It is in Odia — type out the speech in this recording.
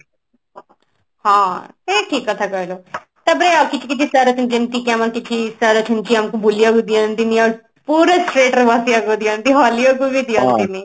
ହଁ ନାଇଁ ଠିକ କଥା କହିଲ ତାପରେ ଆଉ କିଛି କିଛି sir ଅଛନ୍ତି ଯେମତି କି ଆମର sir ଅଛନ୍ତି ଯିଏ ଆମକୁ ବୁଲିବାକୁ ଦିଅନ୍ତି ନି ଆଉ ପୁରା straight ରେ ବସିବାକୁ ଦିଅନ୍ତି ହଲିଆକୁ କୁ ବି ଦିଅନ୍ତି ନି